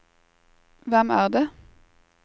hvem er det